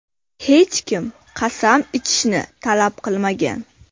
Hech kim qasam ichishni talab qilmagan.